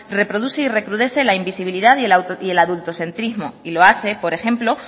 reproduce y recrudece la invisibilidad y el adultocentrismo y lo hace por ejemplo